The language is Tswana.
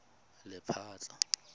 lephatla